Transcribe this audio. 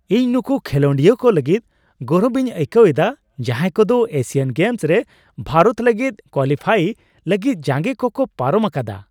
ᱤᱧ ᱱᱩᱠᱩ ᱠᱷᱮᱞᱳᱰᱤᱭᱟᱹ ᱠᱚ ᱞᱟᱹᱜᱤᱫ ᱜᱚᱨᱚᱵᱤᱧ ᱟᱹᱭᱠᱟᱹᱣᱟ ᱮᱫᱟ, ᱡᱟᱦᱟᱸᱭ ᱠᱚᱫᱚ ᱮᱥᱤᱭᱟᱱ ᱜᱮᱢᱥᱨᱮ ᱵᱷᱟᱨᱚᱛ ᱞᱟᱹᱜᱤᱫ ᱠᱳᱣᱟᱞᱤᱯᱷᱟᱭ ᱞᱟᱹᱜᱤᱫ ᱡᱟᱸᱜᱮ ᱠᱚᱠᱚ ᱯᱟᱨᱚᱢ ᱟᱠᱟᱫᱟ ᱾